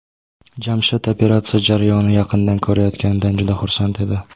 Jamshid operatsiya jarayonini yaqindan ko‘rayotganidan juda xursand edi.